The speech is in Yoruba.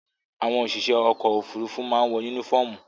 Àwọn òṣìṣẹ́ ọkọ̀-òfurufú máa ń wọ únífọ́ọ́mù.